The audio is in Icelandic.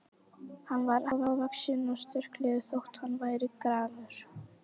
Hann var hávaxinn og sterklegur þótt hann væri grannur.